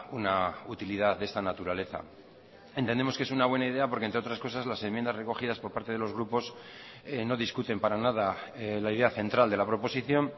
una utilidad de esta naturaleza entendemos que es una buena idea porque entre otras cosas las enmiendas recogidas por parte de los grupos no discuten para nada la idea central de la proposición